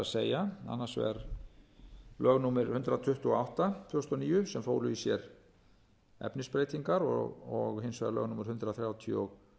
að annars vegar lög númer hundrað tuttugu og átta tvö þúsund og níu sem fólu í sér efnisbreytingar og hins vegar lög númer hundrað þrjátíu og